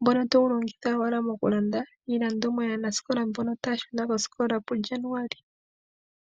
ngono togu longitha owala moku landa iilandomwa yaanasikola mbono taya shuna koosikola puYanuuwali.